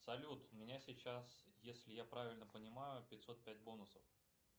салют у меня сейчас если я правильно понимаю пятьсот пять бонусов